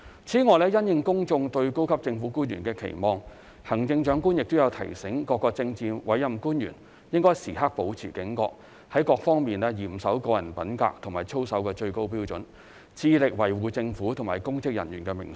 此外，因應公眾對高級政府官員的期望，行政長官亦有提醒各政治委任官員應時刻保持警覺，在各方面嚴守個人品格和操守的最高標準，致力維護政府和公職人員的名聲。